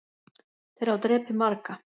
Þeir hafa drepið marga